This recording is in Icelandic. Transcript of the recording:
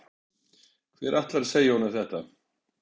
Hver ætlar að segja honum þetta?